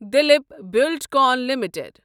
Dilip Buildcon limited